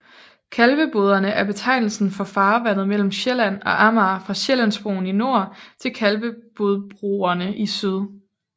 Kalveboderne er betegnelsen for farvandet mellem Sjælland og Amager fra Sjællandsbroen i nord til Kalvebodbroerne i syd